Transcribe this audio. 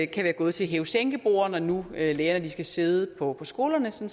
kan være gået til hæve sænke borde når nu lærerne skal sidde på skolerne som